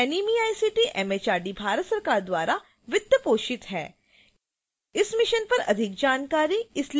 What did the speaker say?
spoken tutorial project NMEICT MHRD Bharat सरकार द्वारा वित्त पोषित है